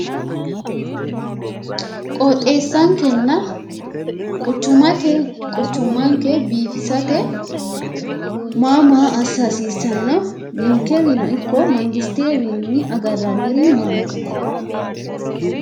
qooxeessankenna qucummanke biifisate maa maa assa hasiissanno ninkewiino ikko mootimmayiwiinni agarranniri maati?